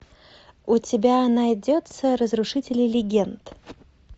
у тебя найдется разрушители легенд